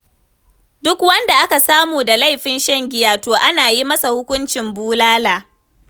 Duk wanda aka samu da laifin shan giya to ana yi masa hukuncin bulala.